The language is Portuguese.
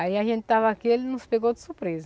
Aí a gente estava aqui e ele nos pegou de surpresa.